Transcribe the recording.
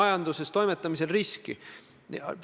Austatud küsija!